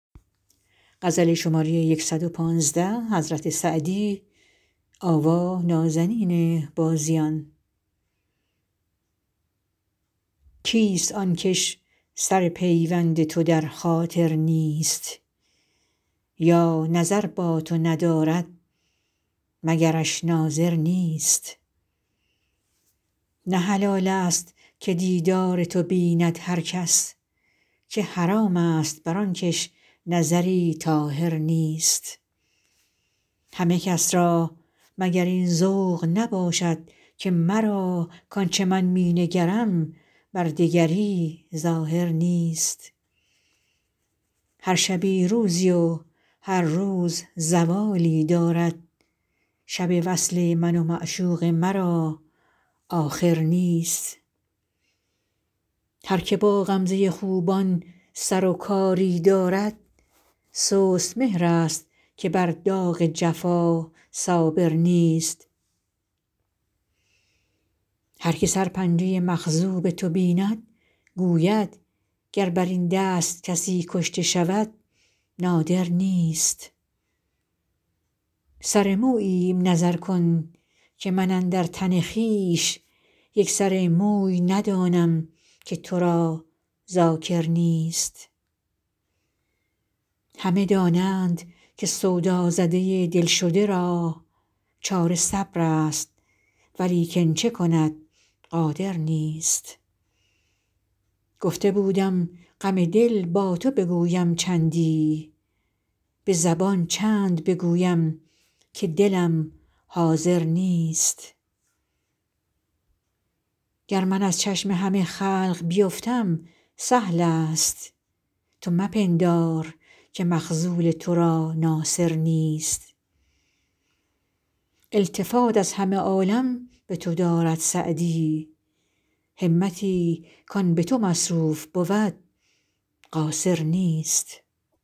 کیست آن کش سر پیوند تو در خاطر نیست یا نظر با تو ندارد مگرش ناظر نیست نه حلال ست که دیدار تو بیند هر کس که حرام ست بر آن کش نظری طاهر نیست همه کس را مگر این ذوق نباشد که مرا کآن چه من می نگرم بر دگری ظاهر نیست هر شبی روزی و هر روز زوالی دارد شب وصل من و معشوق مرا آخر نیست هر که با غمزه خوبان سر و کاری دارد سست مهرست که بر داغ جفا صابر نیست هر که سرپنجه مخضوب تو بیند گوید گر بر این دست کسی کشته شود نادر نیست سر موییم نظر کن که من اندر تن خویش یک سر موی ندانم که تو را ذاکر نیست همه دانند که سودازده دل شده را چاره صبرست ولیکن چه کند قادر نیست گفته بودم غم دل با تو بگویم چندی به زبان چند بگویم که دلم حاضر نیست گر من از چشم همه خلق بیفتم سهل ست تو مپندار که مخذول تو را ناصر نیست التفات از همه عالم به تو دارد سعدی همتی کآن به تو مصروف بود قاصر نیست